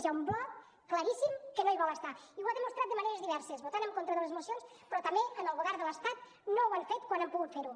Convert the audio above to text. hi ha un bloc claríssim que no hi vol estar i ho ha demostrat de maneres diverses votant en contra de les mocions però també en el govern de l’estat no ho han fet quan han pogut fer ho